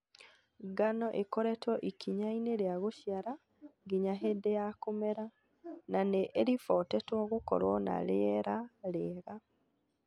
Ngano ĩkoretwo ikinyainĩ rĩa gũciara nginya hĩndĩ ya kũmera, na nĩ ĩribotetwo gũkorwo na rĩera rĩega.